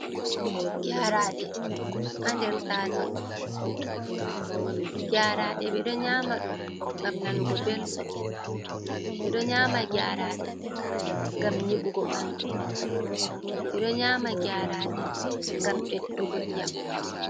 Garade havnder tasaudo, garade ɓeɗo nyama ɗum ngam nanugo bellɗum, ɓeɗo nyama garade ngam nyibugo ɓandu, ɓeɗo nyama garade ngam beddugo yiyam.